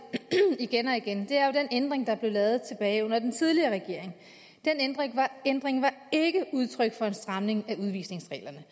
igen og igen er jo den ændring der blev lavet tilbage under den tidligere regering den ændring var ikke udtryk for en stramning af udvisningsreglerne